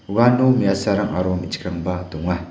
uano me·asarang aro me·chikrangba donga.